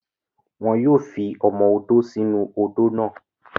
Wọn yóò fi ọmọ odó sí inú-u odó náà